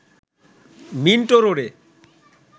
Minto রোডে